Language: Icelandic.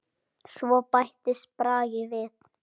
Svo bættist Bragi við.